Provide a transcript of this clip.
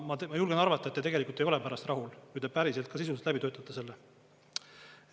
Ma julgen arvata, et te tegelikult ei ole pärast rahul, kui te päriselt ka sisuliselt läbi töötate selle.